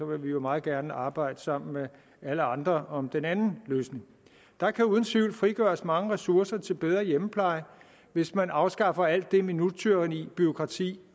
vil vi jo meget gerne arbejde sammen med alle andre om den anden løsning der kan uden tvivl frigøres mange ressourcer til bedre hjemmepleje hvis man afskaffer alt det minuttyranni det bureaukrati